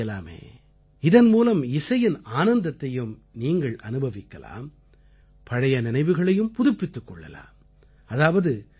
நீங்களும் இப்படிச் செய்யலாமே இதன் மூலம் இசையின் ஆனந்தத்தையும் நீங்கள் அனுபவிக்கலாம் பழைய நினைவுகளையும் புதுப்பித்துக் கொள்ளலாம்